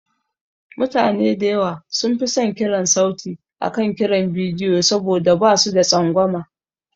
Mutane da yawa sun fi son kiran sauti akan kiran bidiyo saboda ba su da tsangwama.